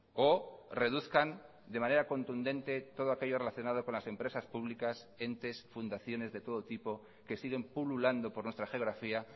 o reduzcan de manera contundente todo aquello relacionado con las empresas públicas entes fundaciones de todo tipo que siguen pululando por nuestra geografía